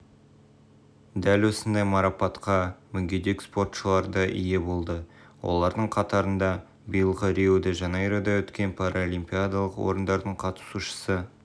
дәл осындай марапатқа мүгедек-спортшылар да ие болды олардың қатарында биылғы рио-де жанейрода өткен параолимпиадалық ойындардың қатысушысы